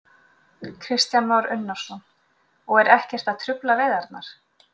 Kristján Már Unnarsson: Og eru ekkert að trufla veiðarnar?